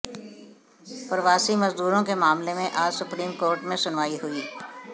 प्रवासी मजदूरों के मामले में आज सुप्रीम कोर्ट में सुनवाई हुई